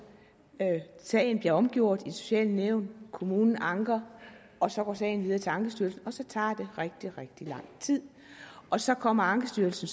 sagen bliver omgjort i det sociale nævn kommunen anker og så går sagen videre til ankestyrelsen og så tager det rigtig rigtig lang tid og så kommer ankestyrelsen